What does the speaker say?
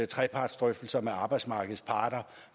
trepartsdrøftelser med arbejdsmarkedets parter